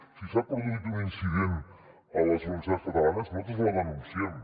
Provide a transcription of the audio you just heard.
si s’ha produït un incident a les universitats catalanes nosaltres el denunciem